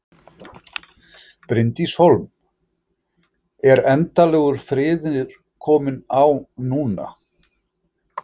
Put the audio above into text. Bryndís Hólm: Er endanlegur friður kominn á núna?